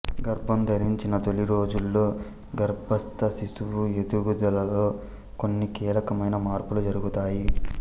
గర్భం ధరించిన తొలి రోజుల్లో గర్భస్థ శిశువు ఎదుగుదలలో కొన్ని కీలకమైన మార్పులు జరుగుతాయి